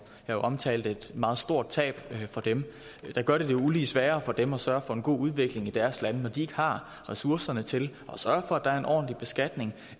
jeg omtalte jo et meget stort tab for dem gør det det ulige sværere for dem at sørge for en god udvikling i deres lande når de ikke har ressourcerne til at sørge for at der er en ordentlig beskatning